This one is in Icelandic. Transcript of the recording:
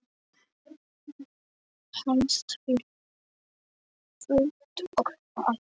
Helst fyrir fullt og allt.